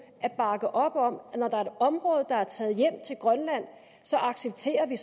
at bakke op om at når der er et område der er taget hjem til grønland så accepterer vi